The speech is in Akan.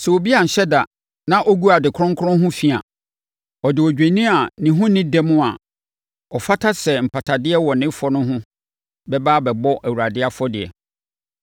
“Sɛ obi anhyɛ da na ɔgu ade kronkron ho fi a, ɔde odwennini a ne ho nni dɛm a ɔfata sɛ mpatadeɛ wɔ ne fɔ no ho bɛba abɛbɔ Awurade afɔdeɛ.